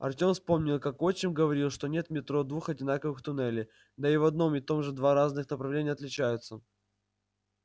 артём вспомнил как отчим говорил что нет в метро двух одинаковых туннелей да и в одном и том же два разных направления отличаются